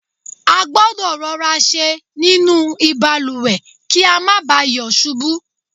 a gbọ́dọ̀ rọra ṣe nínú ìbalùwẹ̀ kí a má ba à yọ̀ ṣubú